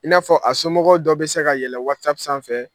I n'a fɔ a somɔgɔw dɔ bɛ se kaɛlɛn sanfɛ.